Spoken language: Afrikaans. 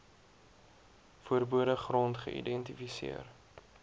verbode gronde geïdentifiseer